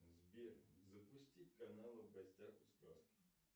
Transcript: сбер запусти каналы в гостях у сказки